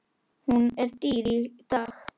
Hún er dýr í dag.